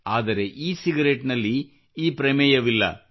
ಆದರೆ e cigarette ನಲ್ಲಿ ಈ ಪ್ರಮೇಯವಿಲ್ಲ